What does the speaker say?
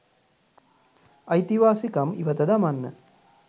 අයිතිවාසිකම් ඉවත දමන්න.